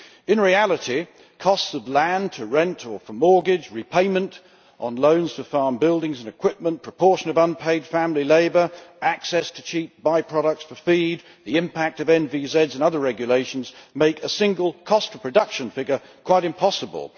In reality, cost of land to rent or for mortgage, repayment on loans for farm buildings and equipment, proportion of unpaid family labour, access to cheap by products for feed, the impact of nitrate vulnerable zones and other regulations make a single cost of production figure quite impossible.